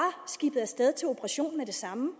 skibet af sted til operation med det samme